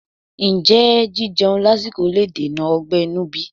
Ǹjẹ́ jíjeun lásìkò le dènà ọgbẹ́ inú bí?